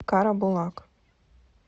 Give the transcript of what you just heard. карабулак